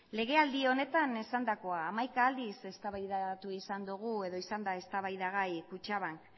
legealdi honetan esandakoa hamaika aldiz eztabaidatu izan dugu eta izan da eztabaidagai kutxabank